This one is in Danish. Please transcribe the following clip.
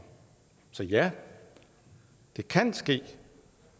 så ja det kan ske